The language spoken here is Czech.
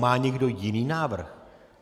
Má někdo jiný návrh?